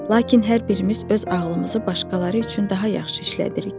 Lakin hər birimiz öz ağlımızı başqaları üçün daha yaxşı işlədirik.